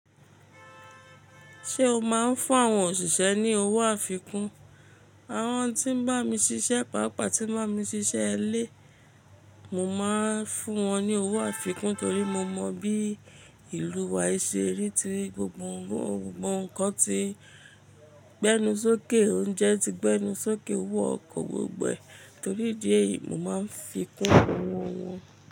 Ṣé o máa ń fún àwọn òṣìṣẹ́ ní owó àfikún? Àwọn tí ń bá mi ṣiṣẹ́, pàápàá tí n bá mi ṣiṣẹ́ ilé, mo máa ń fún wọn ní owó àfikún torí mo mọ bí ìlú wa ṣe rí ti gbogbo ńǹkan ti gbẹ́nu sókè, oúnjẹ ti gbẹ́nu sókè, owó ọkọ̀ gbogbo ẹ torí idí ẹ̀yìí mo máa ń fi kún owọ wọn.